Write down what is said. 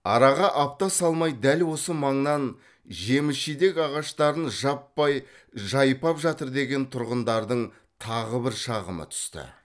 араға апта салмай дәл осы маңнан жеміс жидек ағаштарын жаппай жайпап жатыр деген тұрғындардың тағы бір шағымы түсті